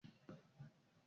Njé wón t'in pin Kéèkì?